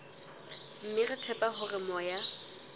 mme re tshepa hore moya